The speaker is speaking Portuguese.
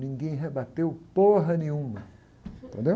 Ninguém rebateu porra nenhuma, entendeu?